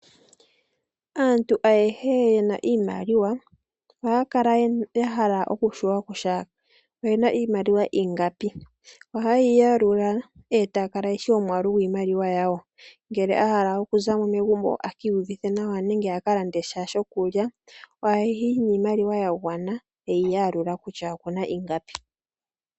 Aantu ayehe yena iimaliwa, oha ya kala ya hala oku shiwa kutya oyena iimaliwa ingapi. Oha ye yi yalula, eta ya kala ye shi omwaalu gwiimaliwa yawo. Ngele agala oku zamo megumbo eki iyuvithe nawa, nenge aka lande sha shokulya, oha yi niimaliwa ya gwana, eyi yalula kutya okuna ingapi.